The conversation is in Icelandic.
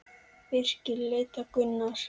Birkir leit á Gunnar.